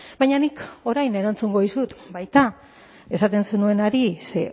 baina nik orain erantzungo dizut baita esaten zenuenari ze